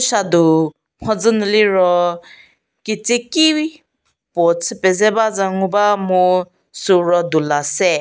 chadu mhodzü nu liro ketsieki puo chü pedze bacü ngu ba mu süu ro dula se.